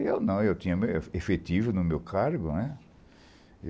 Eu não, eu tinha efetivo no meu cargo.